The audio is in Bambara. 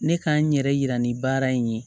Ne k'an yɛrɛ yira ni baara in ye